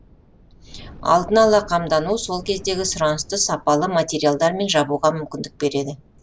алдын ала қамдану сол кездегі сұранысты сапалы материалдармен жабуға мүмкіндік береді